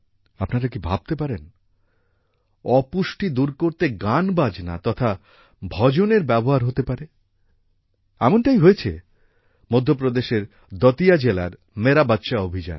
আপনারা কি ভাবতে পারেন অপুষ্টি দূর করতে গান বাজনা তথা ভজনের ব্যবহার হতে পারে এমনটাই হয়েছে মধ্য প্রদেশের দতিয়া জেলার মেরা বচ্চা অভিযানে